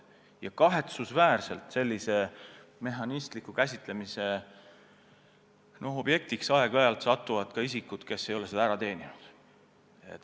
Ja kahetsusväärselt satuvad sellise mehhanistliku käsitlemise objektiks aeg-ajalt ka isikud, kes ei ole seda ära teeninud.